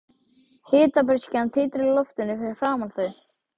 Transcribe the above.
Hitabreyskjan titrar í loftinu fyrir framan þau.